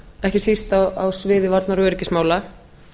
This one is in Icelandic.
ekki síst á sviði varnar og öryggismála